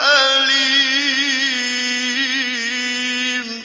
أَلِيمٌ